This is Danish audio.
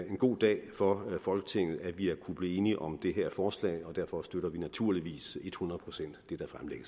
en god dag for folketinget at vi har kunnet blive enige om det her forslag og derfor støtter vi naturligvis ethundrede procent det